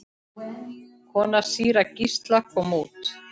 Kona síra Gísla kom út.